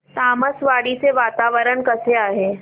तामसवाडी चे वातावरण कसे आहे